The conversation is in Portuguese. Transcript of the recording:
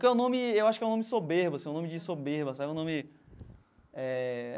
Porque é um nome eu acho que é um nome soberbo assim, um nome de soberba sabe, um nome eh